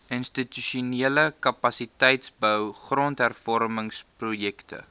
institusionele kapasiteitsbou grondhervormingsprojekte